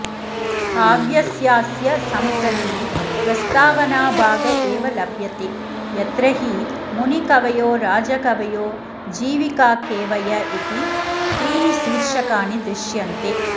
काव्यस्यास्य सम्प्रति प्रस्तावनाभाग एव लभ्यते यत्र हि मुनिकवयो राजकवयो जीविकाकेवय इति त्रीणि शीर्षकाणि दृश्यन्ते